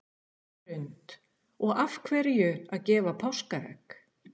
Hrund: Og af hverju að gefa páskaegg?